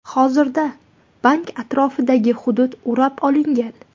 Hozirda bank atrofidagi hudud o‘rab olingan.